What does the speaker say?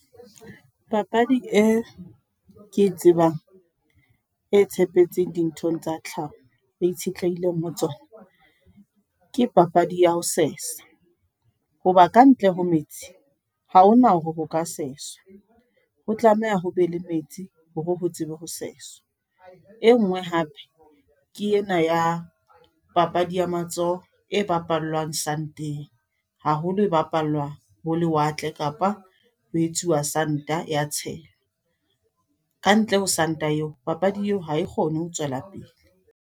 Papadi e, ke tsebang. E tshepetseng dinthong tsa tlhaho, e itshetlehileng ho tsona. Ke papadi ya ho sesa. Hoba kantle ho metsi, ha hona hore ho ka seswa. Ho tlameha ho be le metsi, hore ho tsebe ho seswa. E nngwe hape, ke ena ya papadi ya matsoho, e bapallwang sand-eng. Haholo e bapallwa ho lewatle, kapa ho etsuwa sand-a ya tshelwa. Kantle ho sand-a eo. Papadi eo ha e kgone ho tswela pele.